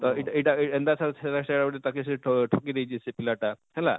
ତ ଇଟା ଇଟା ଏନତା ତ ସେଟା ତାହାକେ ଠକି ଦେଇଛେ ସେ ପିଲା ଟା ହେଲା,